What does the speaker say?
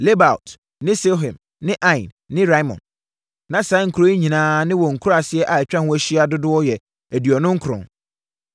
Lebaot ne Silhim ne Ain ne Rimon. Na saa nkuro yi nyinaa ne wɔn nkuraaseɛ a atwa ho ahyia dodoɔ yɛ aduonu nkron.